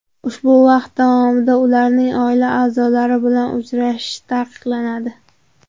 Ushbu vaqt davomida ularning oila a’zolari bilan uchrashishi taqiqlanadi.